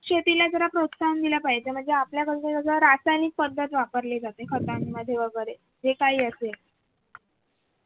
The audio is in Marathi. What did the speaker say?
शेतीला जरा प्रोत्सहन दिल पाहिजे म्हणजे आपल्या बाजूने कस सगळं रासायनिक पद्धत वापरली जाते खतांमध्ये वगैरे जे काही असेल